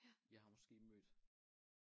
Jeg har måske mødt